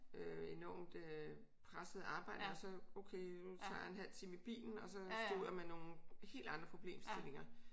Enormt øh pressede arbejde og så okay nu tager jeg en halv time i bilen og så stod jeg med nogle helt andre problemstillinger